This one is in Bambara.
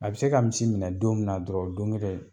A bɛ se ka misi minɛ don min na dɔrɔn o don ŋelen